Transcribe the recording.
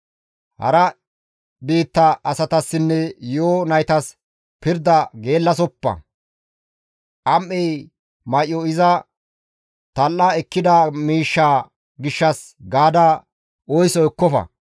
Hara biitta asatassinne yi7o naytas pirda geellasoppa; am7ey may7o iza tal7e ekkida miishsha gishshas gaada oyso ekkofa.